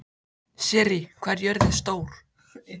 Sirrí, hvað er jörðin stór?